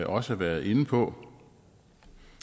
også været inde på